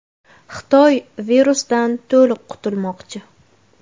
Xitoy virusdan to‘liq qutulmoqchi.